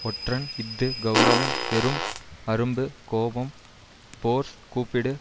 ஒற்றன் இஃது கெளரவம் வெறும் அரும்பு கோபம் ஃபோர்ஸ் கூப்பிடு